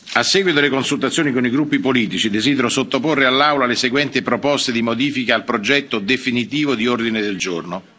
A seguito delle consultazioni con i gruppi politici, desidero sottoporre all'Aula le seguenti proposte di modifica al progetto definitivo di ordine del giorno.